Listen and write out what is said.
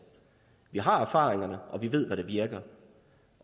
vi har erfaringerne og vi ved hvad der virker